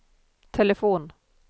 telefon